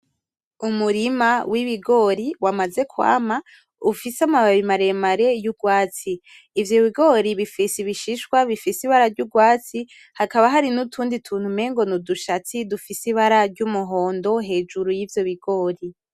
Umurima w'ibigori wamaze kwama ,ufise amababi maremare y'urwatsi ;ivyo bigori bifise ibishishwa bifise ibara ry'urwatsi, hakaba Hari n'utundi tuntu umengo n'udushatsi ,dufise ibara ry'umuhondo hejuru yivyo bigori.